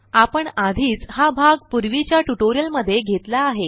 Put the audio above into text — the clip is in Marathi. आपण आधीच हा भाग पूर्वीच्या ट्युटोरिअलमध्ये घेतला आहे